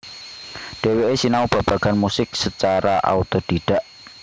Dhèwèké sinau babagan musik sacara autodidak